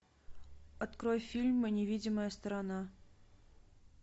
открой фильм невидимая сторона